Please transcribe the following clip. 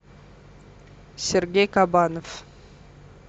сергей кабанов